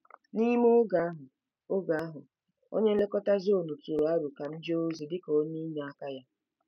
N'ime oge ahụ, oge ahụ, onye nlekọta zoonu tụrụ aro ka m jee ozi dị ka onye inyeaka ya.